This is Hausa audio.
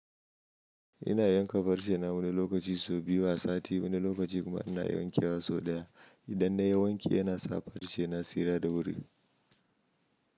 Ina yanka farce na wani lokaci sau biyu a sati, wani lokaci kuma ina yankewa sau ɗaya. Idan na yi wanki yana sa farce na tsira da wuri.